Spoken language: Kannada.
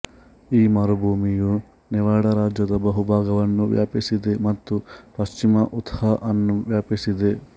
ಈ ಮರುಭೂಮಿಯು ನೆವಾಡಾ ರಾಜ್ಯದ ಬಹುಭಾಗವನ್ನು ವ್ಯಾಪಿಸಿದೆ ಮತ್ತು ಪಶ್ಚಿಮ ಉತಾಹ್ ಅನ್ನು ವ್ಯಾಪಿಸಿದೆ